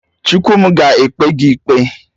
Chukwu m ga-ekpe gị ikpe!